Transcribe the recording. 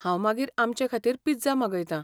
हांव मागीर आमचेखातीर पिझ्झा मागयतां.